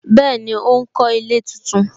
Bẹẹni, ó ń kọ ilé tuntun